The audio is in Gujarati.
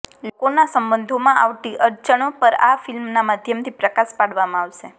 લોકોના સંબંધોમાં આવતી અડચણો પર આ ફિલ્મના માધ્યમથી પ્રકાશ પાડવામાં આવશે